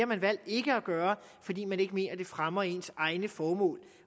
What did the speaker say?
man valgt ikke at gøre fordi man ikke mener at det fremmer ens egne formål